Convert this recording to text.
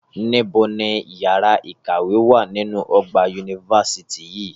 Níbo ni yàrá ìkàwé wà nínú ọgbà yunifásítì yìí